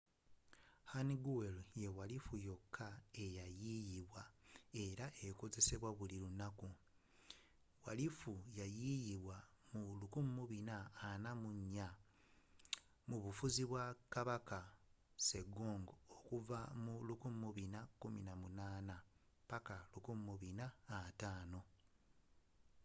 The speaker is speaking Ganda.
hangeul ye walifu yokka eya yiiyizibwa era ekozesebwa buli lunaku. walifu ya yiiyizibwa mu 1444 mu bufuzi bwa king sejong 1418 -1450